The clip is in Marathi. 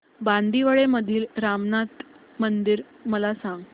बांदिवडे मधील रामनाथी मंदिर मला सांग